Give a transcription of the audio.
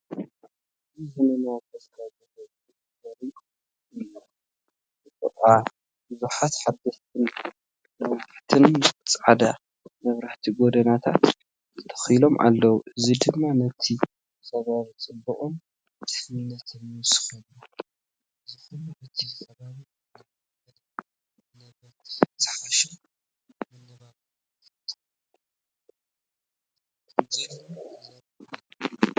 ኣዝዩ ዘመናውን ተስፋ ዝህብን ትርኢት እዩ! ብጥቓ ብዙሓት ሓደስቲን ነዋሕትን ጻዕዳ መብራህቲ ጎደናታት ተተኺሎም ኣለዉ፡ እዚ ድማ ነቲ ከባቢ ጽባቐን ድሕነትን ይውስኸሉ። እዚ ኹሉ እቲ ከባቢ እናማዕበለን ንነበርቲ ዝሓሸ መነባብሮ ይፈጥርን ከምዘሎ ዘርኢ እዩ!